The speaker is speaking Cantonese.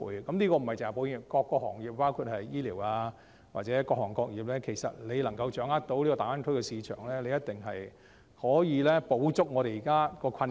這指的不單是保險業，還包括醫療等各行各業，只要掌握大灣區的市場，一定可以補足現時的困境。